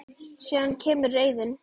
Síðan kemur reiðin.